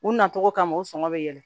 U nacogo kama u sɔngɔ bɛ yɛlɛ